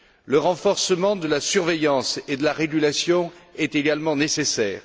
Le renforcement de la surveillance et de la régulation est également nécessaire.